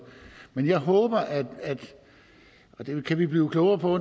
men jeg håber og det kan vi blive klogere på